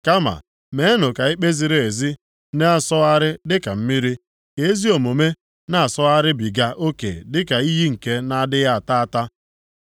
Kama meenụ ka ikpe ziri ezi na-asọgharị dịka mmiri, ka ezi omume na-asọgharịbiga oke dịka iyi nke na-adịghị ata ata.